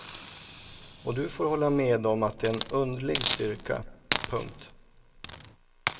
Och du får hålla med om att det är en underlig styrka. punkt